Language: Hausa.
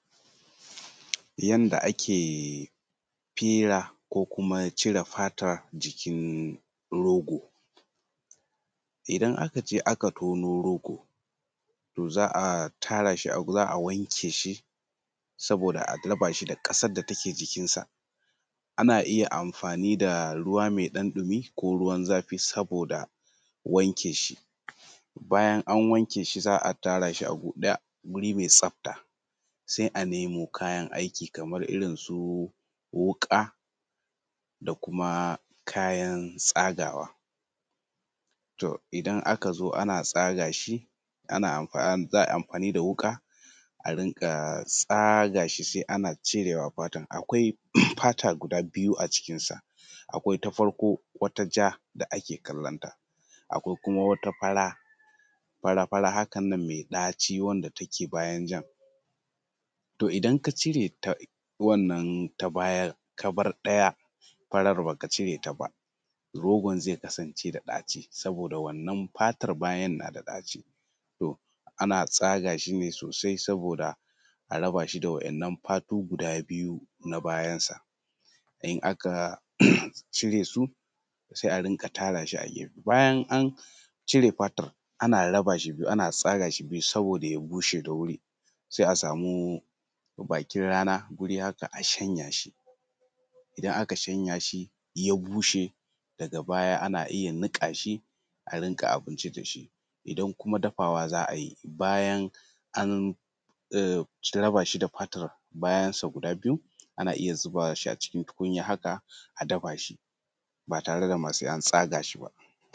Yanda ake fira ko kuma cire fatan jikin rogo. Idan aka je aka tono rogo, za a tara shi, za a wanke shi saboda a raba shi da ƙasar da take jikinsa. Ana iya amfani da ruwa mai ɗan ɗumi ko ruwan zafi saboda wanke shi. Bayan an wanke shi za a tara shi a gu ɗaya, wuri mai tsafta. Sai a nemo kayan aiki kaman irin su wuƙa da kuma kayan tsagawa. Idan aka zo ana tsaga shi za a yi amfani da wuƙa a rinƙa tsaga shi sai ana cirewa fatan. Akwai fata guda biyu a jikinsa. Akwai ta farko wata ja ake kalanta, akwai kuma wata fara, fara fara hakan nan mai ɗaci wanda take bayan jan. To idan ka ka cire ta wannan ta bayan ka bar ɗaya farar ba ka cireta ba, rogon zai kasance da ɗaci saboda wannan fatan bayan na da ɗaci. To ana tsaga shi ne sosai saboda a raba shi da wa'innan fatu guda biyu na bayansa. In aka cire su sai a rinƙa tara shi a gefe. Bayan an cire fatan ana raba shi biyu, ana tsaga shi biyu, saboda ya bushe da wuri. Sai a samu bakin rana guri haka a shanya shi, idan aka shayan shi ya bushe daga baya ana iya niƙa shi a rinƙa abinci da shi. idan kuma dafawa za a yi bayan an raba shi da fatan bayansa guda biyu, ana iya zuba shi a cikin tukunya haka, a dafa shi ba tare da ma an tsaga shi ba.